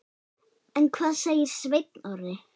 En hvað segir Sveinn Orri?